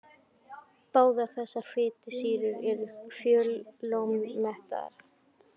Báðar þessar fitusýrur eru fjölómettaðar.